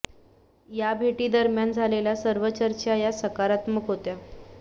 या भेटी दरम्यान झालेल्या सर्व चर्चा या सकारात्मक होत्या